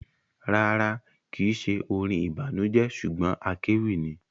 Rárá, kìí ṣe orin ìbànújẹ ṣugbọn akéwì ni.